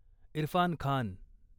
Irfan Khan